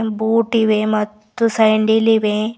ಬೂಟಿ ಇವೆ ಮತ್ತು ಸ್ಯಾಂಡಿಲ್ ಇವೆ.